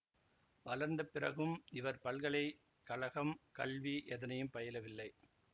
வளர்ந்த பிறகும் இவர் பல்கலை கழகம் கல்வி எதனையும் பயிலவில்லை